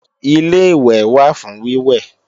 Ilé-ìwẹ̀ wà fún wíwẹ̀